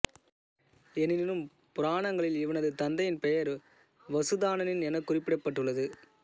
எனினும் புராணங்களில் இவனது தந்தையின் பெயர் வசுதானன் எனக் குறிப்பிடப்பட்டுள்ளது